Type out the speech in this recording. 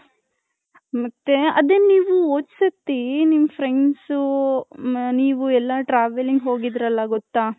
ಮತ್ತೆ ಆದೇ ನೀವು ಓದ್ಹ್ ಸತಿ ನಿಮ್ friends ನೀವು ಎಲ್ಲಾ travelling ಹೋಗಿದ್ರಲ್ಲ ಗೊತ್ತಾ .